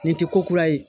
Nin tɛ ko kura ye